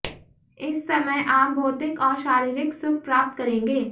इस समय आप भौतिक और शारीरिक सुख प्राप्त करेंगे